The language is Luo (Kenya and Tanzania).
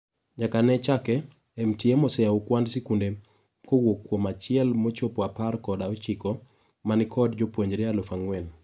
Nyaka ne chake, MTM oseyao kwand sikundene kowuok kuom a chiel mochopo apar kod ochiko manikod jopuonjre alufu ang'wen.